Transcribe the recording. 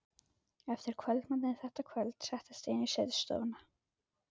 Eftir kvöldmatinn þetta kvöld settist ég inn í setustofuna.